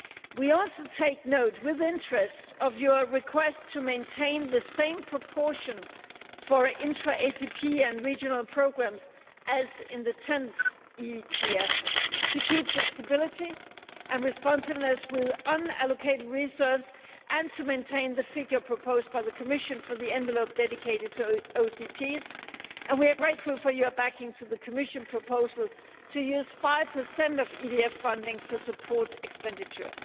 We also take note, with interest, of your request to maintain the same proportion for intra ACP and regional programmes as in the 10th EDF, to keep flexibility and responsiveness with unallocated reserves and to maintain the figure proposed by the Commission for the envelope dedicated to OCTs, and we are grateful for your backing for the Commission proposal to use 5 of EDF funding for support expenditure.